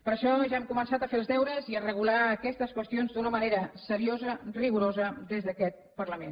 per això ja hem començat a fer els deures i a regular aquestes qüestions d’una manera seriosa rigorosa des d’aquest parlament